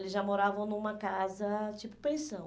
Eles já moravam numa casa tipo pensão.